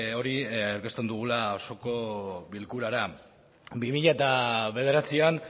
hori aurkezten dugula osoko bilkurara bi mila bederatzian